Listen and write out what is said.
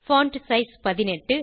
font size 18